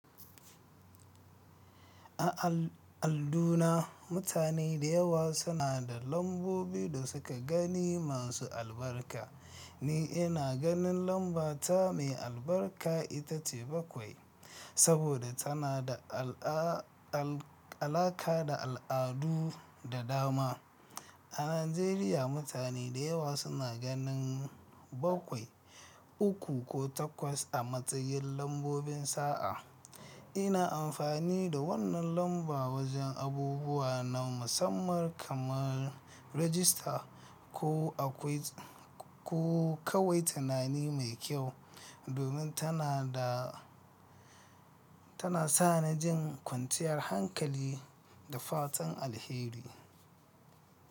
A al-alduna, mutane da yawa suna da lambobi da suka gani masu albarka. Ni ina ganin lambata mai albarka ita ce bakwai, saboda tana da alaa-al-alaka da al'adu da dama. A Najeriya mutane da yawa suna ganin bakwai, uku ko takwas a matsayin lambobin sa'a. Ina amfani da wannan lamba wajen abubuwa na musamman kamar rajista ko akwai ko kawai tunani mai kyau, domin tana da tana sa ni jin kwanciyar hankali da fatan alheri.